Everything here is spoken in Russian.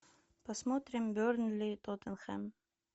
посмотрим бернли тоттенхэм